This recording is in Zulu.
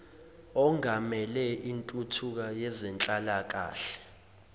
ongamele intuthuko yezenhlalakahle